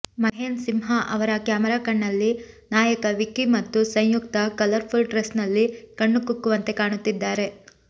ಮಹೇನ್ ಸಿಂಹ ಅವರ ಕ್ಯಾಮೆರಾ ಕಣ್ಣಲ್ಲಿ ನಾಯಕ ವಿಕ್ಕಿ ಮತ್ತು ಸಂಯುಕ್ತಾ ಕಲರ್ಫುಲ್ ಡ್ರೆಸ್ನಲ್ಲಿ ಕಣ್ಣುಕುಕ್ಕವಂತೆ ಕಾಣುತ್ತಿದ್ದಾರೆ